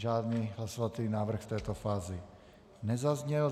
Žádný hlasovací návrh v této fázi nezazněl.